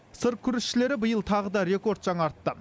сыр күрішшілері биыл тағы да рекорд жаңартты